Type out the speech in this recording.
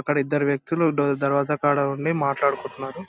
అక్కడ ఇద్దరు వ్యక్తులు డోర్ దరత కాడా ఉండి మాట్లాడుకుంటున్నారు.